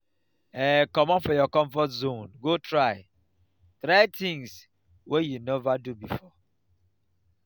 um comot for your comfort zone go try try things wey you nova do before